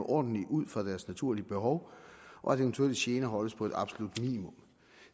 ordentligt ud fra deres naturlige behov og at eventuelle gener holdes på et absolut minimum